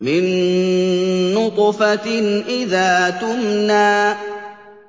مِن نُّطْفَةٍ إِذَا تُمْنَىٰ